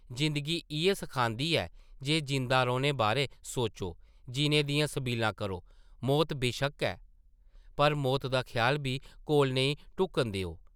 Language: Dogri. जिंदगी इʼयै सखांदी ऐ जे जींदा रौह्ने बारै सोचो, जीने दियां सबीलां करो, मौत बेशक्क है पर मौत दा ख्याल बी कोल नेईं ढुक्कन देओ ।